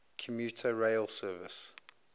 commuter rail service